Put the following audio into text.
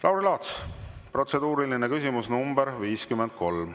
Lauri Laats, protseduuriline küsimus nr 53.